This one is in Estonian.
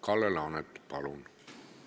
Kalle Laanet, palun!